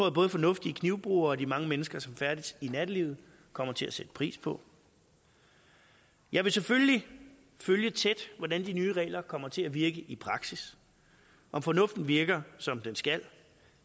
at både fornuftige knivbrugere og de mange mennesker som færdes i nattelivet kommer til at sætte pris på jeg vil selvfølgelig følge tæt hvordan de nye regler kommer til at virke i praksis om fornuften virker som den skal